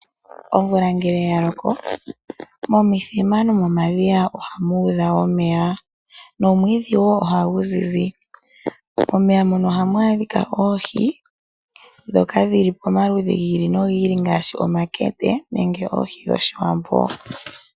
Omvula ngele yaloko momithima nomomadhiya ohamu udha omeya. Nomwiidhi ohagu zizi. Momeya mono ohamu adhika oohi dhoka dhili pomaludhi giili nogiili ngaashi omankende nenge ohii dhoshiwambo